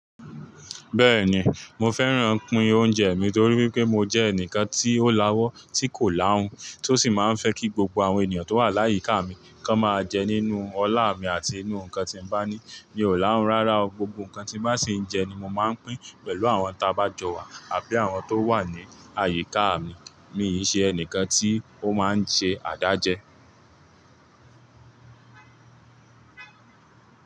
Bẹ́ẹ̀ni, mo fẹ́ràn pin oúnjẹ mi torí wípé mo jẹ́ ẹnìkan tí ó láwọ́ tí kò láhun, tí ó sì máa ń fẹ́ kí gbogbo àwọn ènìyàn tó wà láyíká mi kan máa jẹ nínú ọlá mi àti nínú nǹkan tí mo bá ní. Mi ò láhun rárá o, gbogbo nǹkan tí bá sì ń jẹ ni mo máa ń pín pẹ̀lú àwọn tá bá jọ wà àbí àwọn tó wà ní àyíká mi. Mí ì ṣe ẹnìkan tí ó máa ń ṣe àdájẹ́